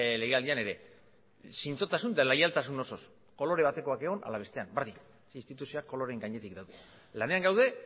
legealdian ere zintzotasun eta leialtasun osoz kolore batekoak egon ala bestekoak berdin instituzioak koloreen gainetik daudez lanean gaude